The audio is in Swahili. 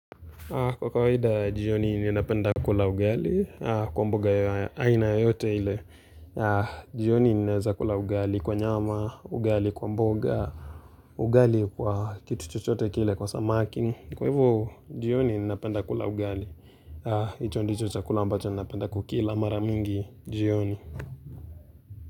Kwa kawada jioni ninapenda kula ugali kwa mboga ya aina yoyote ile jioni ninaeza kula ugali kwa nyama, ugali kwa mboga, ugali kwa kitu chochote kile kwa samaki, kwa hivo jioni ninapenda kula ugali, hicho ndicho chakula ambacho ninapenda kukila mara mingi jioni.